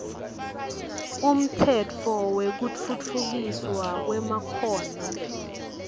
umtsetfo wekutfutfukiswa kwemakhono